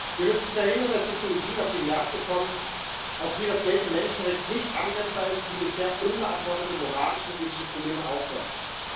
Wir müssen verhindern, dass Technologien auf die Märkte kommen, auf die das geltende Menschenrecht nicht anwendbar ist und die bisher unbeantwortete moralische und ethische Probleme aufwerfen.